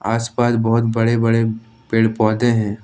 आसपास बहुत बड़े बड़े पेड़ पौधे हैं।